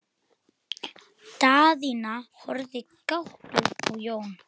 Daðína horfði gáttuð á Jón.